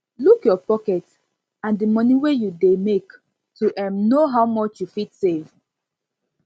look your pocket and di money wey you dey make to um know how much you fit save